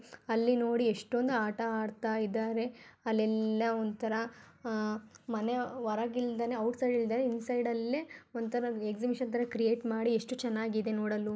ಅಲ್ಲಿ ನೋಡಿ ಏಷ್ಟೋಂದ್ ಆಟ ಆಡ್ತಾ ಇದಾರೆ ಅಲ್ಲೆಲ್ಲ ಒಂತರ ಅಹ್ ಮನೆ ವರಗಿಲ್ದನೆ ಔಟ್ಸೈಡ್ ಇಲ್ದನೆ ಇನ್ಸೈಡಲ್ಲೆ ಒಂತರ ಎಗ್ಸಿಬಿಷನ್ ತರ ಕ್ರಿಯೇಟ್ ಮಾಡಿ ಎಷ್ಟು ಚೆನ್ನಾಗಿದೆ ನೋಡಲು .